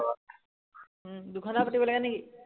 উম দুঘন্টা পাতিব লাগে নে কি